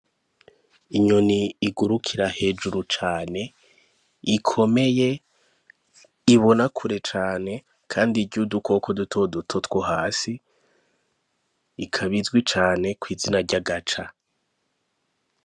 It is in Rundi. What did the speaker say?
Inyoni igurukira hejuru cane ikomeye ibona kure cane, kandi irya udukoko duto duto two hasi ikabizwi cane kw'izina ryagaca.